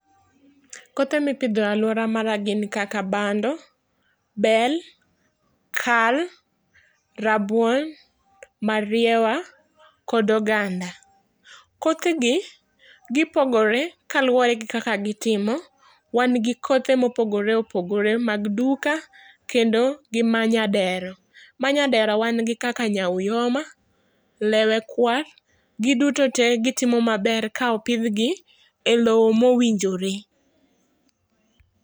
Kothe mipidho e aluora mara gin kaka bando, bel, kal, rabuon, mariewa kod oganda. Kothegi gipogore kaluwore gi kaka gitimo. Wangi kothe mopogore opogore mag duka kendo gi manyadera. Manyadera wan gi kaka nyaoyuma, lewe kwar; giduto tee gitimo maber kaopidhgi e lowo mowinjore.